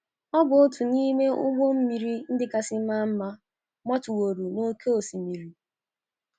Ọ bụ otu n’ime ụgbọ mmiri ndị kasị maa mma gbatụworo n’oké osimiri.